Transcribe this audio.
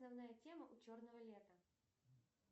основная тема у черного лета